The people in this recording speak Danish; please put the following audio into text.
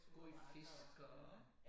God i fisk og